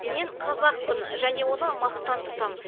мен қазақпын және оны мақтан тұтамын